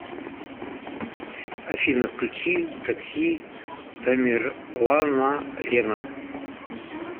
афина включи такси тамерланалена